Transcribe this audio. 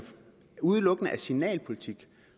udelukkende er signalpolitik